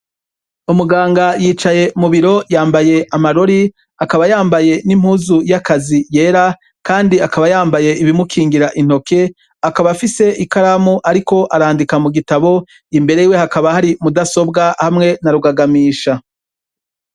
Umuganga yicaye mu biro yambaye amarori, akaba yambaye n'impuzu y'akazi yera, kandi akaba yambaye ibimukingira intoke. Akaba afise ikaramu ariko arandika mu gitabo imbere yiwe hakaba hari mudasobwa hamwe na rugagamisha.